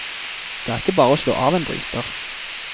Det er ikke bare å slå av en bryter.